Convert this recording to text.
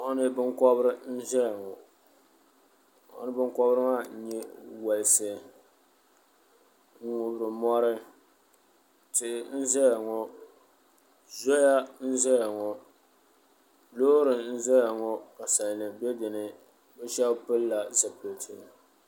Moɣini binkobiri n ʒɛya ŋo moɣini binkobiri maa n nyɛ wolsi ŋun ŋubiri mori tihi n ʒɛya ŋo zoya n ʒɛya ŋo Loori n ʒɛya ŋo ka salnim bɛ dinni bi shab pilila zipiliti